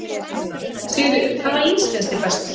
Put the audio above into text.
Sigríður: Hvaða ís finnst þér bestur?